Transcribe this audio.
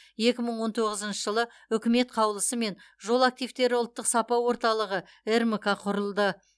екі мың он тоғызыншы жылы үкімет қаулысымен жол активтері ұлттық сапа орталығы рмк құрылды